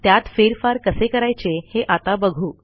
त्यात फेरफार कसे करायचे हे आता बघू